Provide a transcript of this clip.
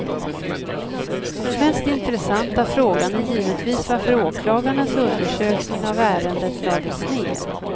Den mest intressanta frågan är givetvis varför åklagarnas undersökning av ärendet lades ner.